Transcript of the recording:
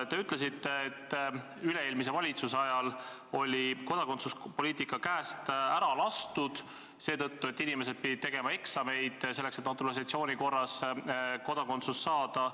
Te ütlesite, et üle-eelmise valitsuse ajal oli kodakondsuspoliitika käest ära lastud – inimesed pidid tegema eksameid, et naturalisatsiooni korras kodakondsus saada.